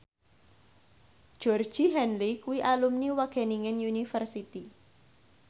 Georgie Henley kuwi alumni Wageningen University